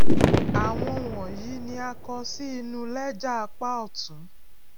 áwọn wònyìí ni a kọ sí inu léjà apá òtún